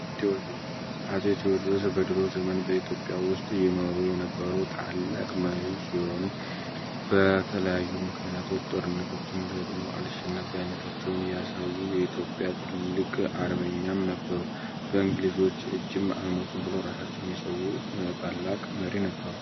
አፄ ቴዎድርስ በድሮ ዘመን በኢትዮጵያ ውስጥ የኗሩ የነበሩ ታላቅ መሆኑ በተለያዩ ምክንያቶች ጦርነቶችን ገጥሞ አልሸነፈ አይነታቸውን ያሳዩ የኢትዮጵያ ትልቅ አርበኛም ነበሩ በእንግሊዞች ብለው ራሳቸው ታላቅ መሪ ነበሩ።